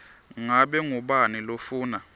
ngabe ngubani lofuna